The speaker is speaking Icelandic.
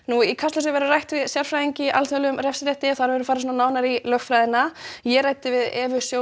í Kastljósi verður rætt við sérfræðing í alþjóðlegum refsirétti þar verður farið nánar í lögfræðina en ég ræddi við Evu